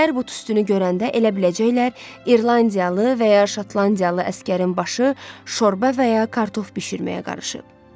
Minqlər bu tüstünü görəndə elə biləcəklər İrlandiyalı və ya Şotlandiyalı əsgərin başı şorba və ya kartof bişirməyə qarışıb.